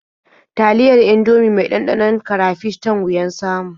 Taliyar Indomie mai ɗanɗanon karafish tan wuyar samu.